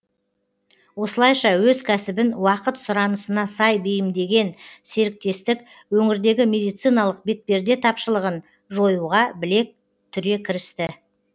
осылайша өз кәсібін уақыт сұранысына сай бейімдеген серіктестік өңірдегі медициналық бетперде тапшылығын жоюға білек түре кірісті